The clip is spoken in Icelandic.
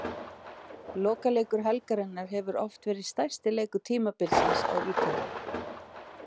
Lokaleikur helgarinnar hefur oft verið stærsti leikur tímabilsins á Ítalíu.